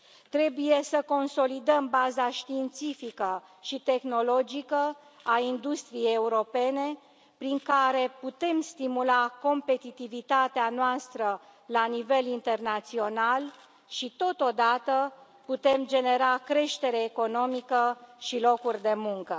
Trebuie să consolidăm baza științifică și tehnologică a industriei europene, prin care putem stimula competitivitatea noastră la nivel internațional și, totodată, putem genera creștere economică și locuri de muncă.